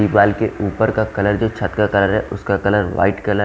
दीवार के ऊपर का कलर जो छत का कलर है उसका कलर वाइट कलर --